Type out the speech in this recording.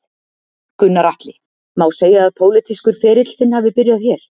Gunnar Atli: Má segja að pólitískur ferill þinn hafi byrjað hér?